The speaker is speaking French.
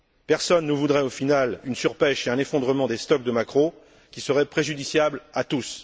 Personne ne voudrait, au final, une surpêche et un effondrement des stocks de maquereaux, qui seraient préjudiciables pour tous.